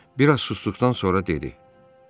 Bir az susduqdan sonra dedi: